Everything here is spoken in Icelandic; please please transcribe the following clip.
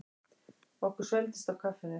Okkur svelgdist á kaffinu.